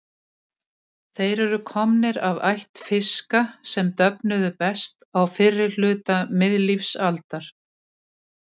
Þeir eru komnir af ætt fiska sem döfnuðu best á fyrri hluta miðlífsaldar.